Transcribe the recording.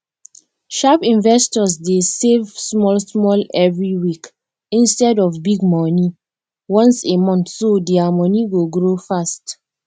sharp investors dey save smallsmall every week instead of big money once a monthso dia money go grow fast